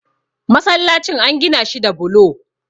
masallacin an Gina shi da bulo